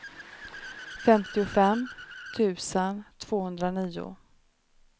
femtiofem tusen tvåhundranio